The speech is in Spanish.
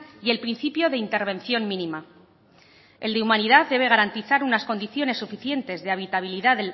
y el principio de intervención mínima el de humanidad debe garantizar unas condiciones suficientes de habitabilidad